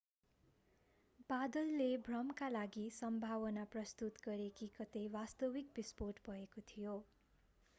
बादलले भ्रमका लागि सम्भावना प्रस्तुत गरे कि कतै वास्तविक बिस्फोट भएको थियो